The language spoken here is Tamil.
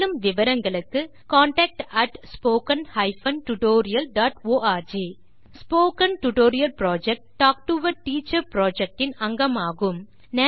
மேலும் விவரங்களுக்கு contactspoken tutorialorg spoken tutorial project talk to a teacher project இன் அங்கமாகும்